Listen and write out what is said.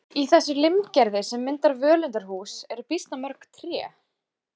Í þessu limgerði sem myndar völundarhús eru býsna mörg tré.